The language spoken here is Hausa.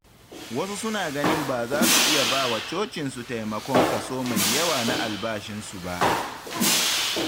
Wasu suna ganin ba za su iya ba wa cocinsu taimakon kaso mai yawa na albashinsu ba.